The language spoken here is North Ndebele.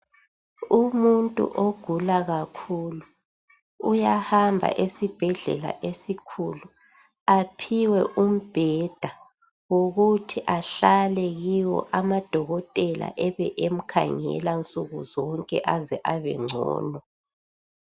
Umuntu ogula kakhulu uyahamba esibhedlela esikhulu aphiwe umbheda wokuthi ahlale kiwo amadokotela ebe emkhangela nsuku zonke aze abengcono.